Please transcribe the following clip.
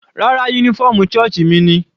Rárá, uniform sọ́ọ̀sì mi ni.